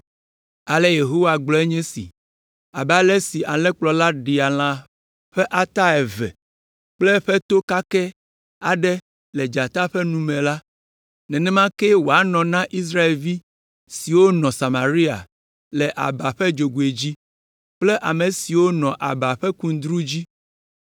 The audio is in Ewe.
Ale Yehowa gblɔe nye si, “Abe ale si Alẽkplɔla ɖea lã ƒe ata eve kple to kakɛ aɖe ko le dzata ƒe nu me la, nenema kee wòanɔ na Israelvi siwo nɔ Samaria le aba ƒe dzogoe dzi kple ame siwo nɔ aba ƒe kundru dzi.”